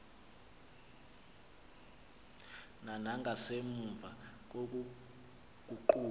na nangasemva kokuguquka